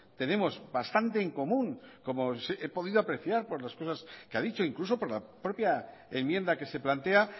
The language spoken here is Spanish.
tenemos bastante en común como he podido apreciar por las cosas que ha dicho incluso por la propia enmienda que se plantea